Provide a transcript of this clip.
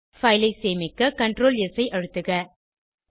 file ஐ சேமிக்க Ctrl S ஐ அழுத்துக